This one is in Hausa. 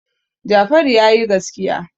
Jafaru ya yi gaskiya.